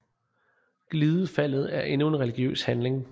Glidefaldet er endnu en religiøs handling